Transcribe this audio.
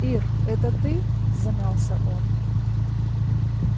ир это ты замялся он